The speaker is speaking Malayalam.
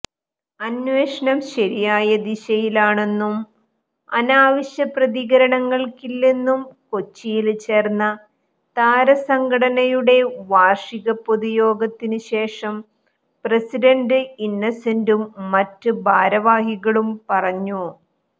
അന്വേഷണം ശരിയായ ദിശയിലാണെന്നും അനാവശ്യപ്രതികരണങ്ങള്ക്കില്ലെന്നും കൊച്ചിയില് ചേര്ന്ന താരസംഘടനയുടെ വാര്ഷിക പൊതുയോഗത്തിനുശേഷം പ്രസിഡന്റ് ഇന്നസെന്റും മറ്റ് ഭാരവാഹികളും പറഞ്ഞു